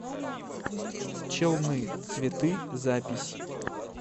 челны цветы запись